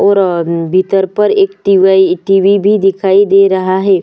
और अ भीतर पर एक टीबय टीवी भी दिखाई दे रहा है।